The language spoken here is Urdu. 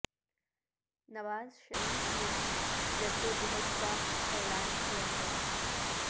نواز شریف نے بھی جدوجہد کا اعلان کیا ہے